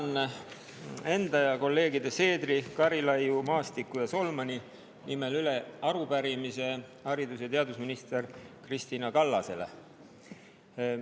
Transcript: Annan enda ja kolleegide Seedri, Karilaiu, Maastiku ja Solmani nimel üle arupärimise haridus‑ ja teadusminister Kristina Kallasele.